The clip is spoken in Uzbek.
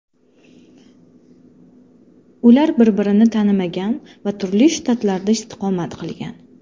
Ular bir-birini tanimagan va turli shtatlarda istiqomat qilgan.